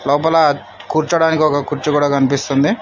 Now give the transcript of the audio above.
లోపల కూర్చోడానికి ఒక కుర్చీ కూడా కనిపిస్తుంది.